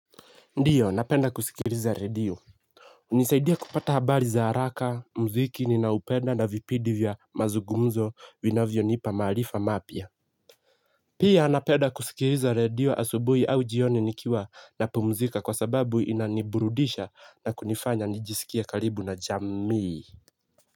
Ndiyo napenda kusikiliza radio hunisaidia kupata habari za haraka mziki ninaupenda na vipidi vya mazugumzo vinavyonipa maarifa mapya pia napenda kusikiliza radio asubuhi au jioni nikiwa na pumzika kwa sababu inaniburudisha na kunifanya nijisikia karibu na jamii.